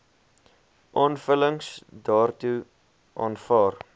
aanvullings daartoe aanvaar